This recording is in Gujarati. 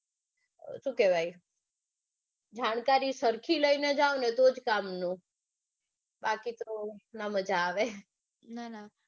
સુ કેવાય જાણકારી સરખી લઇ ને જાઓ ને તો જ કામનું બાકી તો ના મજા આવે.